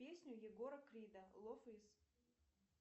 песню егора крида лов из